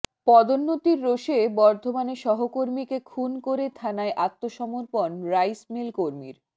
পদোন্নতির রোষে বর্ধমানে সহকর্মীকে খুন করে থানায় আত্মসমর্পণ রাইসমিল কর্মীর